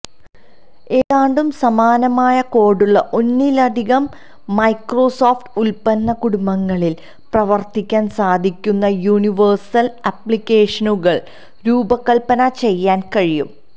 ഏതാണ്ട് സമാനമായ കോഡുള്ള ഒന്നിലധികം മൈക്രോസോഫ്റ്റ് ഉൽപ്പന്ന കുടുംബങ്ങളിൽ പ്രവർത്തിക്കാൻ സാധിക്കുന്ന യൂണിവേഴ്സൽ ആപ്ലിക്കേഷനുകൾ രൂപകൽപ്പന ചെയ്യാൻ കഴിയും